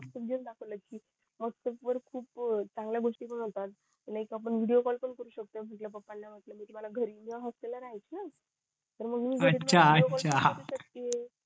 व्हॅटप्पास वर खूप चांगल्या गोष्टी पण होतात लाईक आपण विडिओ कॉल पण करू शकतो म्हंटल पप्पा ना म्हंटल मी घरी नाय हॉस्टेल ला राहायची ना